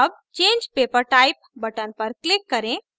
अब change paper type button पर click करें